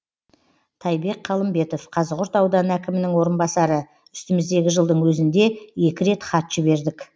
тайбек қалымбетов қазығұрт ауданы әкімінің орынбасары үстіміздегі жылдың өзінде екі рет хат жібердік